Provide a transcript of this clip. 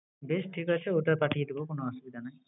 বেশ! ঠিক আছে, ওটা পাঠিয়ে দেবো কোন অসুবিধা নাই।